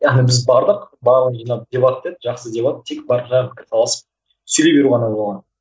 яғни біз бардық барлығымыз жиналып дебат деді жақсы дебат тек барып жаңағы пікірталасып сөйлей беру ғана болған